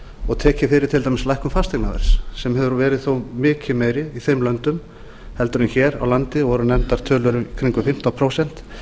og tekið fyrir til dæmis lækkun fasteignaverðs sem hefur þó verið mikið meiri í þeim löndum heldur en hér á landi voru nefndar tölur í kringum fimmtán prósent